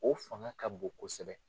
O fanga ka bon kosɛbɛ